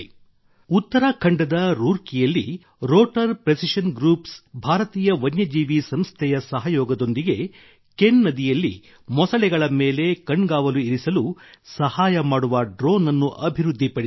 ಉತ್ತರಾಖಂಡದ ರೂರ್ಕಿಯಲ್ಲಿ rotor precision groups ಭಾರತೀಯ ವನ್ಯಜೀವಿ ಸಂಸ್ಥೆಯ ಸಹಯೋಗದೊಂದಿಗೆ ಕೆನ್ ನದಿಯಲ್ಲಿ ಮೊಸಳೆಗಳ ಮೇಲೆ ಕಣ್ಗಾವಲು ಇರಿಸಲು ಸಹಾಯ ಮಾಡುವ ಡ್ರೋನ್ ಅನ್ನು ಅಭಿವೃದ್ಧಿಪಡಿಸಿದೆ